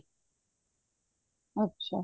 ਅੱਛਾ